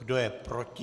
Kdo je proti?